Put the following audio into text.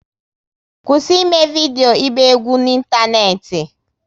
Kwụsị eme vidio ịgba egwu n'Ịntaneti!